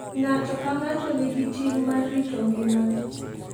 Ng'ato ka ng'ato nigi ting' mar rito ngimane.